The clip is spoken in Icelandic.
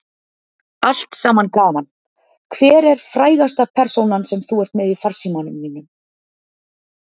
Allt saman gaman Hver er frægasta persónan sem þú ert með í farsímanum þínum?